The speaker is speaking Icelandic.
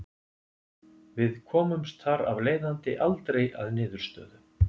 Við komumst þar af leiðandi aldrei að niðurstöðu.